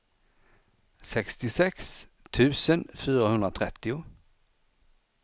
sextiosex tusen fyrahundratrettio